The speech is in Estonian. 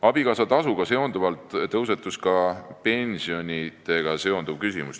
Abikaasatasuga seoses tõusetus ka pensioniküsimus.